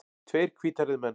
Tveir hvíthærðir menn.